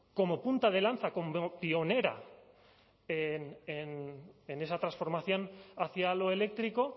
como punta de lanza como pionera en esa transformación hacia lo eléctrico